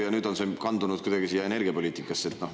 Ja nüüd on see kandunud kuidagi energiapoliitikasse.